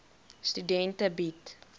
studente bied